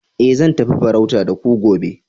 eh zan tafi farauta da ku gobe